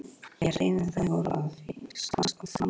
Ég heyrði að þau voru að hvíslast á frammi.